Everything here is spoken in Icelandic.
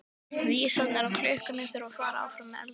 Vísarnir á klukkunni þutu áfram með eldingarhraða.